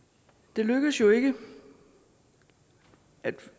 det lykkedes jo ikke at